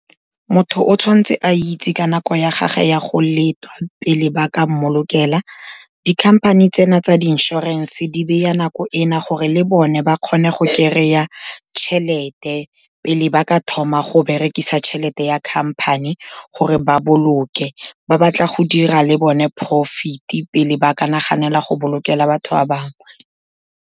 Motho o tshwan'tse a itse ka nako ya gage ya go letwa, pele ba ka mmolokela. Dikhamphane tsena tsa di inshorense, di beya nako ena gore le bone ba kgone go kry-a tšhelete pele ba ka thoma go berekisa tšhelete ya khamphane gore ba boloke, ba batla go dira le bone profit-e pele ba ka naganela go bolokela batho ba bangwe.